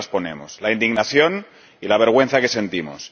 Claro que las ponemos, la indignación y la vergüenza que sentimos.